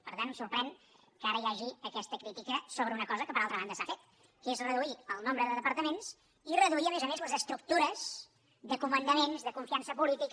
per tant em sorprèn que ara hi hagi aquesta crítica sobre una cosa que per altra banda s’ha fet que és reduir el nombre de departaments i reduir a més a més les estructures de comandaments de confiança política